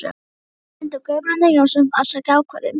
Í sama mund og Guðbrandur Jónsson afsakaði ákvörðun